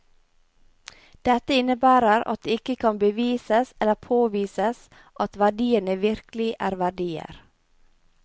Dette innebærer at det ikke kan bevises eller påvises at verdiene virkelig er verdier.